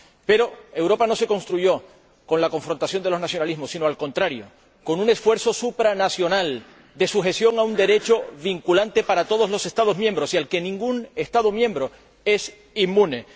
Pero Europa no se construyó con la confrontación de los nacionalismos sino, al contrario, con un esfuerzo supranacional de sujeción a un Derecho vinculante para todos los Estados miembros y al que ningún Estado miembro es inmune.